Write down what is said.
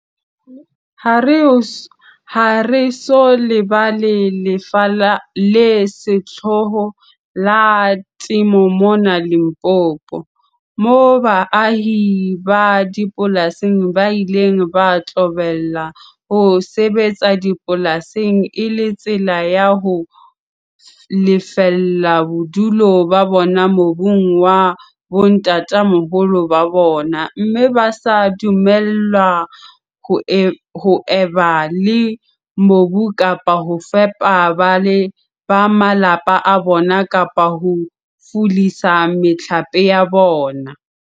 "Ha re so lebala lefa le sehloho la temo mona Limpopo, moo baahi ba dipolasing ba ileng ba qobellwa ho sebetsa dipolasing e le tsela ya ho lefella bodulo ba bona mobung wa bontatamoholo ba bona, mme ba sa dumellwa ho eba le mobu kapa ho fepa ba malapa a bona kapa ho fulisa mehlape ya bona."